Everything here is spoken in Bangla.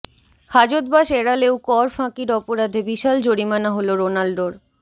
হাজতবাস এড়ালেও কর ফাঁকির অপরাধে বিশাল জরিমানা হল রোনাল্ডোর